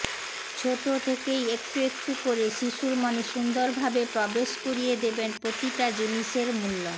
ছোট থেকেই একটু একটু করে শিশুর মনে সুন্দরভাবে প্রবেশ করিয়ে দেবেন প্রতিটা জিনিসের মূল্য